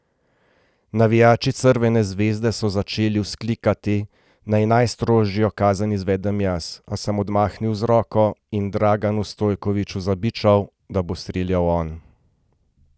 Navijači Crvene zvezde so začeli vzklikati, naj najstrožjo kazen izvedem jaz, a sem odmahnil z roko in Draganu Stojkoviću zabičal, da bo streljal on.